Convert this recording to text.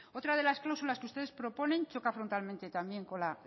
otras de las cláusulas que ustedes proponen choca frontalmente también con la